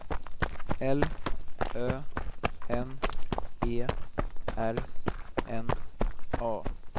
L Ö N E R N A